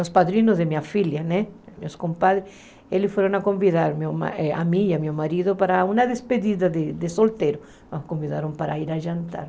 os padrinhos da minha filha, né meus compadres, eles foram convidar a mim e o meu marido para uma despedida de solteiro, nos convidaram para ir a jantar.